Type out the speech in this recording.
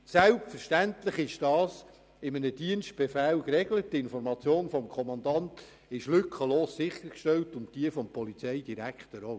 Selbstverständlich ist dies in einem Dienstbefehl geregelt, und die Information des Kommandanten ist lückenlos sichergestellt, auch die des Polizeidirektors.